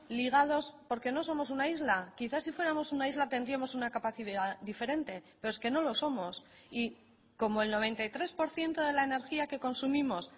ligados porque no somos una isla quizá si fuéramos una isla tendríamos una capacidad diferente pero es que no lo somos y como el noventa y tres por ciento de la energía que consumimos